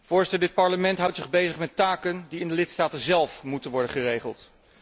Voorzitter, dit Parlement houdt zich bezig met taken die in de lidstaten zélf moeten worden geregeld.